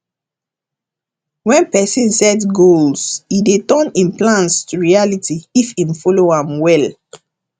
when person set goals e dey turn im plans to reality if im follow am well